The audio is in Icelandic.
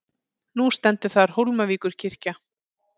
Nú stendur þar Hólmavíkurkirkja.